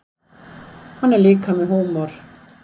Hann er líka með húmor.